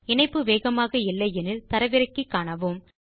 இணைப்பு வேகமாக இல்லை எனில் அதை தரவிறக்கி காணுங்கள்